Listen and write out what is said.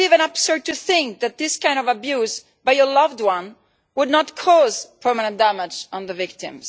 It is even absurd to think that this kind of abuse by a loved one would not cause permanent damage to the victim.